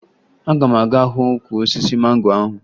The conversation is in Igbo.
Aga m aga hụ ukwu osisi mango ahụ